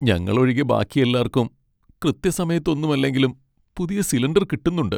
ഞങ്ങൾ ഒഴികെ ബാക്കി എല്ലാർക്കും കൃത്യസമയത്തൊന്നുമല്ലെങ്കിലും പുതിയ സിലിണ്ടർ കിട്ടുന്നുണ്ട്.